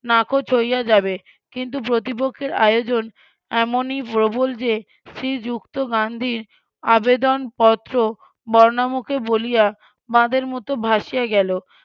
নাকচ হইয়া যাবে কিন্তু প্রতিপক্ষের আয়োজন এমনই প্রবল যে শ্রীযুক্ত গান্ধির আবেদনপত্র বর্ণামুখে বলিয়া বাঁধের মত ভাসিয়া গেল